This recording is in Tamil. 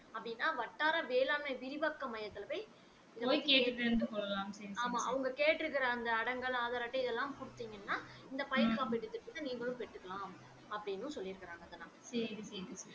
அப்படின்னா வட்டார வேளாண்மை விரிவாக்க மையத்துல போய் ஆமா அவங்க கேட்டு இருக்காங்க அடங்கல் ஆதார் அட்டை இதலாம் குடுத்திங்கனா இந்த பயிர் காப்பீட்டு திட்டத்தை நீங்களும் பெற்று கொள்ளலாம் அப்படின்னும் சொல்லி இருகாங்க